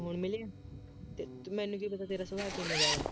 ਤੂੰ ਮੈਨੂੰ ਮਿਲਿਆ ਅਤੇ ਮੈਨੂੰ ਕੀ ਪਤਾ ਤੇਰਾ ਸੁਭਾਅ ਕਿਵੇਂ ਦਾ ਵਾ,